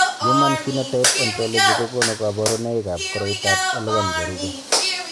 Human Phenotype Ontology kokonu kabarunoikab koriotoab L1 cherube.